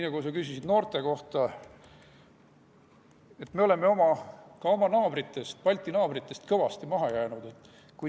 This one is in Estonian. Aga minu arvates me oleme oma Balti naabritest kõvasti maha jäänud.